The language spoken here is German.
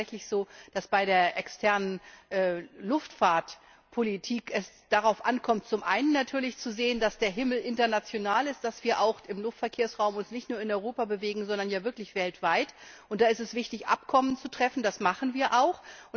Es ist tatsächlich so, dass es bei der externen Luftfahrtpolitik darauf ankommt, zum einen natürlich zu sehen, dass der Himmel international ist, dass wir uns im Luftverkehrsraum nicht nur in Europa bewegen, sondern wirklich weltweit. Da ist es wichtig, Abkommen zu treffen, das machen wir auch.